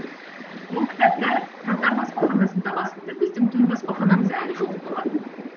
бұл кітаптар татар баспаханасында басылды біздің төл баспаханамыз әлі жоқ болатын